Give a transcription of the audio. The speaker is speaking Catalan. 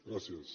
gràcies